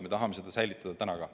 Me tahame seda säilitada.